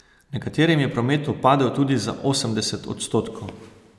Nekaterim je promet upadel tudi za osemdeset odstotkov.